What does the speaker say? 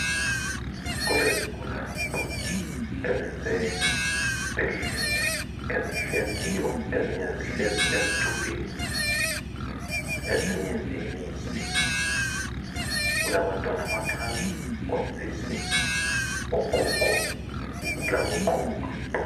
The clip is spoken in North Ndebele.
Kulezigulane ezisesibhedlela, ezihleziyo. Ezinye zihlezi esitubhini ezinye zimile. Kulabantwana abancane, osisi ogogo labokhulu.